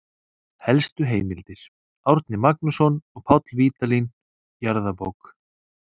Helstu heimildir: Árni Magnússon og Páll Vídalín, Jarðabók.